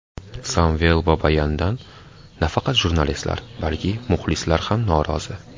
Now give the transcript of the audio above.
Samvel Babayandan nafaqat jurnalistlar, balki muxlislar ham norozi.